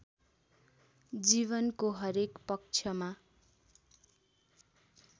जीवनको हरेक पक्षमा